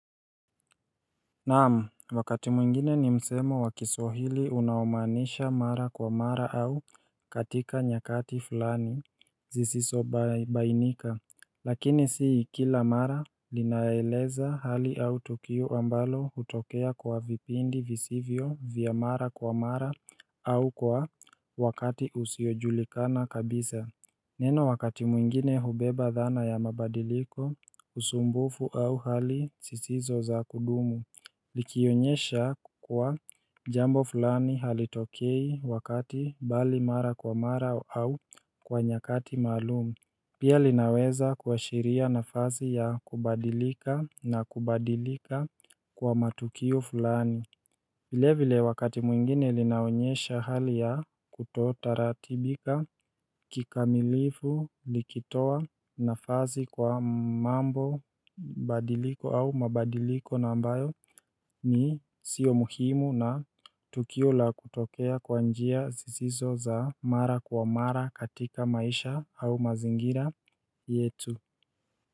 Naam wakati mwingine ni msemo wakiswahili unaomanisha mara kwa mara au katika nyakati fulani zisiso ba bainika Lakini sii kila mara linaeleza hali au tukio ambalo hutokea kwa vipindi visivyo vyamara kwa mara au kwa wakati usiojulikana kabisa Neno wakati mwingine hubeba dhana ya mabadiliko usumbufu au hali sisizo za kudumu Likionyesha kuwa jambo fulani halitokei wakati mbali mara kwa mara au kwa nyakati maalum Pia linaweza kwashiria nafasi ya kubadilika na kubadilika kwa matukio fulani vile vile wakati mwingine linaonyesha hali ya kutotaratibika kikamilifu likitoa nafasi kwa mambo badiliko au mabadiliko na ambayo ni sio muhimu na tukio la kutokea kwa njia zisizo za mara kwa mara katika maisha au mazingira yetu.